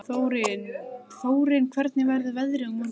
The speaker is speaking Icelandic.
Þórinn, hvernig verður veðrið á morgun?